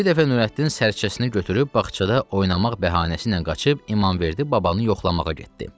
Bir dəfə Nurəddin sərcəsini götürüb bağçada oynamaq bəhanəsi ilə qaçıb İmamverdi babanı yoxlamağa getdi.